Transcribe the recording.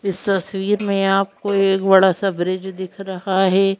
इस तस्वीर में आपको एक बड़ा सा ब्रिज दिख रहा है।